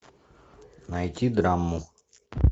найти драму